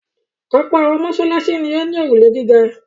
Ọ̀pọ̀ àwọn mọ́ṣáláṣí ni ó ní òrùlé gíga.